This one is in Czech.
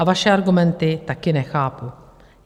A vaše argumenty taky nechápu.